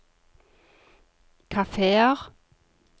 kafeer